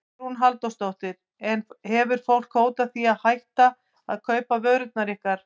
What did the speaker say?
Hugrún Halldórsdóttir: En hefur fólk hótað því að hætta að kaupa vörurnar ykkar?